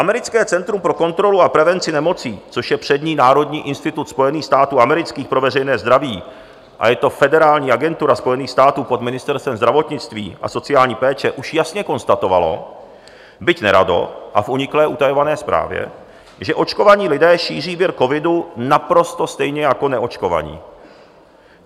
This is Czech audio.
Americké centrum pro kontrolu a prevenci nemocí, což je přední národní institut Spojených států amerických pro veřejné zdraví, a je to federální agentura Spojených států pod Ministerstvem zdravotnictví a sociální péče, už jasně konstatovalo, byť nerado a v uniklé utajované zprávě, že očkovaní lidé šíří vir covidu naprosto stejně jako neočkovaní.